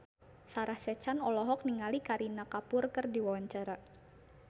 Sarah Sechan olohok ningali Kareena Kapoor keur diwawancara